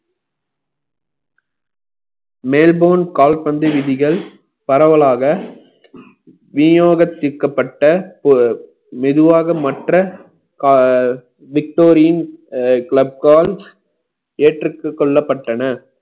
Melbourne கால்பந்து விதிகள் பரவலாக விநியோகத் தீர்க்கப்பட்ட மெதுவாக மற்ற கா~ victorian club ஏற்றுக் கொள்ளப்பட்டன